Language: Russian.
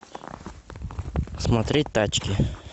смотреть тачки